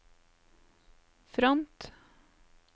front